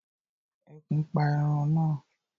Ẹkùn pa ẹran na